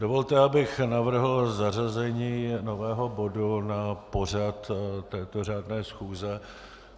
Dovolte, abych navrhl zařazení nového bodu na pořad této řádné schůze.